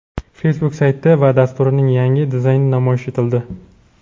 Facebook sayti va dasturining yangi dizayni namoyish etildi.